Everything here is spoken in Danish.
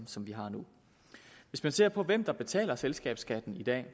som vi har nu hvis man ser på hvem der betaler selskabsskatten i dag